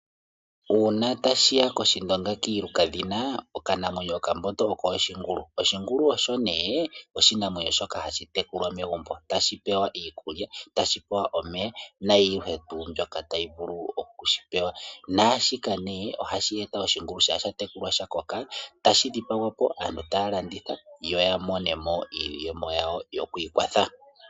Uuna ta shiya kOshindonga kiiluka dhina, okanamwenyo kokambondo oshingulu. Oshingulu osho nee oshinamwenyo shoka hashi tekulwa megumbo, ta shi pewa iikulya nomeya, na yihe tuu mbyoka ta yivulu okushipewa, naashika nee oha shi eta oshingulu shampa shatekulwa eta shi koko, eta shi dhipagwapo, yo oya monemo iiyemo yawo.